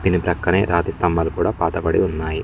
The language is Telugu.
దీని పక్కనే రతి స్థంబాలు కూడా పాత బడి ఉన్నాయి.